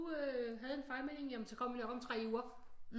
Havde en fejlmelding jamen så kom vi op om 3 uger